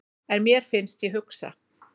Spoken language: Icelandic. En mér finnst ég hugsa.